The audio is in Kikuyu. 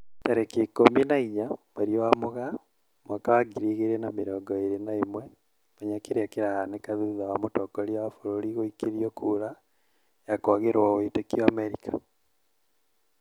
Tarĩki ikũmi na inya mweri wa Mũgaa mwaka wa ngiri igĩri na mĩrongo ĩri na ĩmwe, Menya kĩrĩa kĩrahanĩka thutha wa mũtongoria wa bũrũri guikĩrio kura ya kwagĩrwo wĩtĩkio Amerika